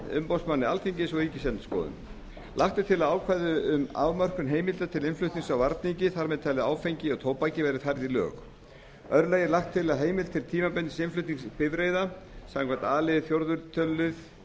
umboðsmanni alþingis og ríkisendurskoðun lagt er til að ákvæði um afmörkun heimilda til innflutnings á varningi þar með talið áfengi og tóbaki verði færð í lög í öðru lagi er lagt til að heimild til tímabundins innflutnings bifreiða samkvæmt a lið fjórða tölulið